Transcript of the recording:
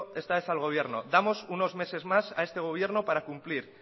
esta vez al gobierno damos unos meses más para cumplir